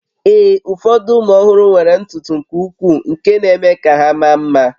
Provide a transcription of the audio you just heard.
Ee, ụfọdụ ụmụ ọhụrụ nwere ntutu nke ukwuu nke na-eme ka ha maa mma